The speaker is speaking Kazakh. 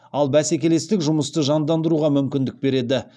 ал бәсекелестік жұмысты жандандыруға мүмкіндік береді